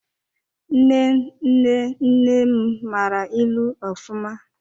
Nne nne nne m mara ịlụ ofụma.